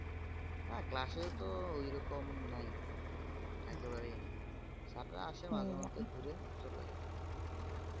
না class তো ওইরকম নাই একেবারেই নেই sir রা আসেন মাঝে মাঝে ঘুরে চলে যায়